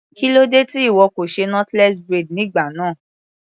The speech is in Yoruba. Kílódé tí ìwọ kò ṣe knotless braid nígbà náà.